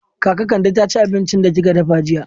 Kaka Kande ta ci abincin da kika dafa jiya?